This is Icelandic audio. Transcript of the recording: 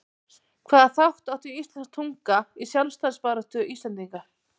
Hvaða þátt átti íslensk tunga í sjálfstæðisbaráttu Íslendinga?